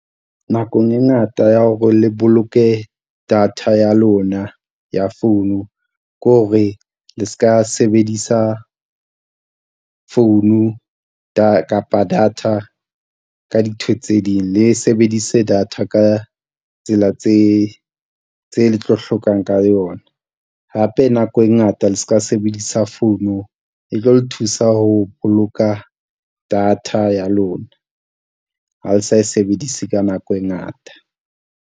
Nakong e ngata ya hore le boloke data ya lona ya phone ko re le s'ka sebedisa phone kapa data ka dintho tse ding, le sebedise data ka tsela tse tse le tlo hlokang ka yona. Hape nako e ngata le s'ka, sebedisa founu e tlo le thusa ho boloka data ya lona ha le sa e sebedise ka nako e ngata.